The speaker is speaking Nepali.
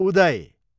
उदय